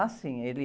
Ah, sim, ele